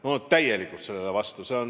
Ma olen täielikult sellele vastu!